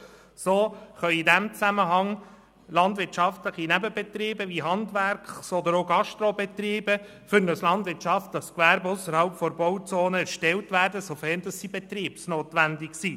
So können landwirtschaftliche Nebenbetriebe wie Handwerks- oder auch Gastrobetriebe in diesem Zusammenhang für ein landwirtschaftliches Gewerbe ausserhalb der Bauzone erstellt werden, sofern sie betriebsnotwenig sind.